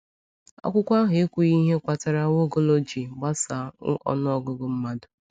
Akwụkwọ ahụ ekwughị ihe kpatara Nwaokolo ji gbasaa ọnụ ọgụgụ mmadụ.